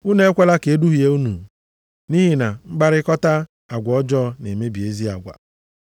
Unu ekwela ka e duhie unu. Nʼihi na mkparịkọta agwa ọjọọ na-emebi ezi agwa.